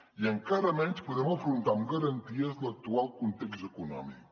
i encara menys podem afrontar amb garanties l’actual context econòmic